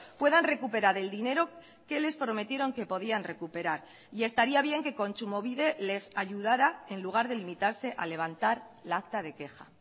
puedan recuperar el dinero que les prometieron que podían recuperar y estaría bien que kontsumobide les ayudará en lugar de limitarse a levantar la acta de queja